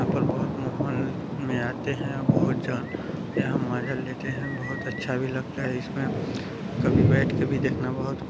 यहाँ पर बहोत माहौल मे आते है बहोत झन यहाँ मज़ा लेते है बहोत अच्छा भी लगता है। इसमें कभी बैठ के भी देखना बहोत --